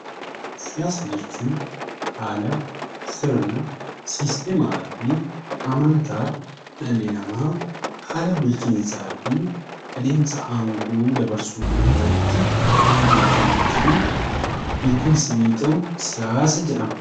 Siyaasa jechuun haala sirna siistemaafi amantaa dhalli namaa haala bulchiinsaafi adeemsa aangoo dabarsuu irratti odeeffannoofi beekkumsi inni qabu siyaasa jedhama.